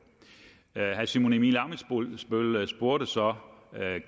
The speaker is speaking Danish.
herre simon emil ammitzbøll spurgte så